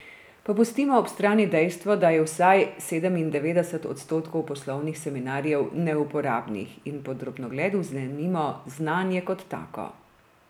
Pa pustimo ob strani dejstvo, da je vsaj sedemindevetdeset odstotkov poslovnih seminarjev neuporabnih, in pod drobnogled vzemimo znanje kot tako.